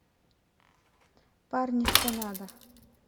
парни что надо